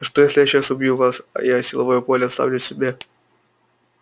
а что если я сейчас убью вас а я силовое поле оставлю себе